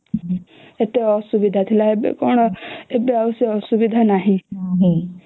କେତେ ଅସୁବିଧା ଥିଲା ଏବେ କଣ ଏବେ ଆଉ ସେ ଅସୁବିଧା ନାହିଁ